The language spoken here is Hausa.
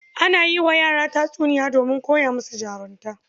Ana yi wa yara tatsiniya donmin koya musu jarunta